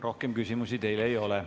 Rohkem küsimusi teile ei ole.